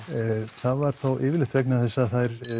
það var yfirleitt vegna þess að